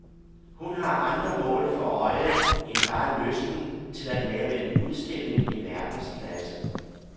Hun har andre mål for øje end bare lysten til at lave en udstilling i verdensklasse.